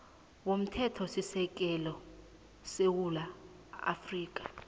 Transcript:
womthethosisekelo wesewula afrika